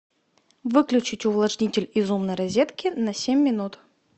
выключить увлажнитель из умной розетки на семь минут